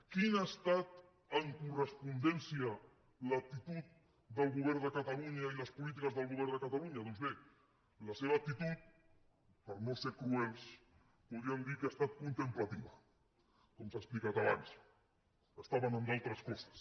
quina ha estat en correspondència l’actitud del govern de catalunya i les polítiques del govern de catalunya doncs bé la seva actitud per no ser cruels podríem dir que ha estat contemplativa com s’ha explicat abans estaven en altres coses